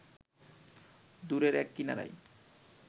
দূরের এক কিনারায়